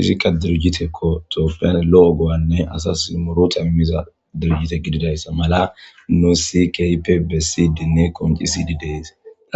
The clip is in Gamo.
izikka durujite kotopiyan lo7o go7anne asas moro tamimiza durujite gididayssa mala noo sikpebessidinne koncisidi deyse